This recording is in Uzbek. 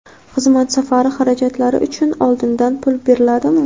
Xizmat safari xarajatlari uchun oldindan pul beriladimi?.